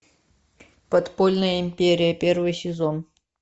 подпольная империя первый сезон